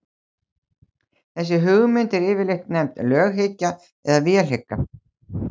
þessi hugmynd er yfirleitt nefnd löghyggja eða vélhyggja